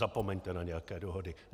Zapomeňte na nějaké dohody.